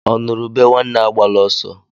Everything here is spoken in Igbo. Ọ nụrụ ube nwanne agbala ọsọ